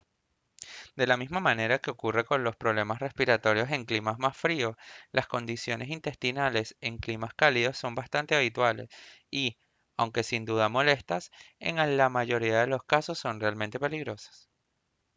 de la misma manera que ocurre con los problemas respiratorios en climas más fríos las condiciones intestinales en climas cálidos son bastante habituales y aunque sin dudas molestas en la mayoría de los casos no son realmente peligrosas